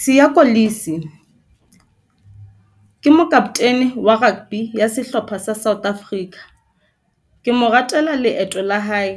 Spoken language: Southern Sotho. Siya Kolisi, ke mokaptene wa rugby ya sehlopha sa South Africa, ke mo ratela leeto la hae